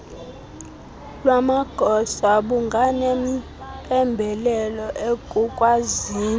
lwamagosa bunganempembelelo ekukwazini